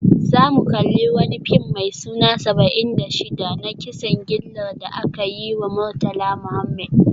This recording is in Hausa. Za mu kalli wani fim mai suna Saba'in da Shida, na kisan gillar da aka yi wa Murtala Muhammed